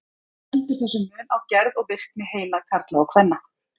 Hvað veldur þessum mun á gerð og virkni heila karla og kvenna?